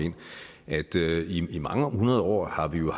hertil at i mange hundrede år har vi jo